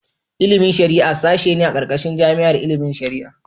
Ilimin shari'a sashe ne a ƙarƙashin jami'ar ilimin shari'a.